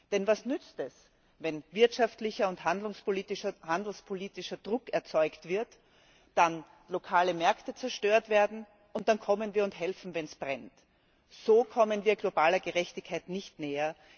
Denn was nützt es, wenn wirtschaftlicher und handelspolitischer Druck erzeugt wird, dann lokale Märkte zerstört werden und wir dann kommen und helfen, wenn es brennt. So kommen wir globaler Gerechtigkeit nicht näher.